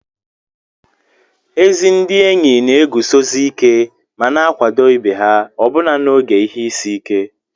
Ezi ndị enyi na-eguzosi ike ma na-akwado ibe ha ọbụna n'oge ihe isi ike